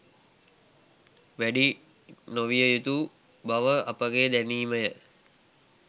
වැඩි නොවිය යුතු බව අපගේ දැනීම ය